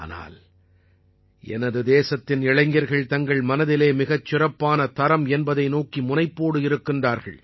ஆனால் எனது தேசத்தின் இளைஞர்கள் தங்கள் மனதிலே மிகச் சிறப்பான தரம் என்பதை நோக்கி முனைப்போடு இருக்கிறார்கள்